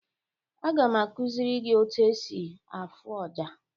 Aga m akuziri gi otu esi afụ ọjà.